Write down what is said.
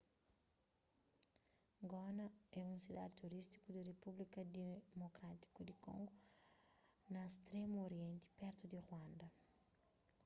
goma é un sidadi turístiku di repúblika dimokrátiku di kongo na stremu orienti pertu di ruanda